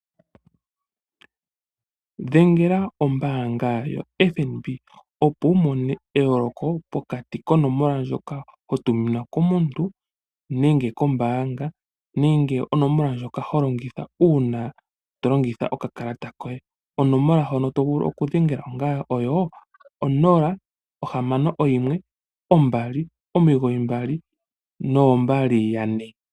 Dhengele ombaanga yoFNB, opo wu mone eyooloko pokati konomola ndjoka ho tuminwa komuntu nenge kombaanga nenge onomola ndjoka ho longitha uuna to longitha okakalata koye. Onomola ndjoka to vulu okudhengela oyo 061 299 2222.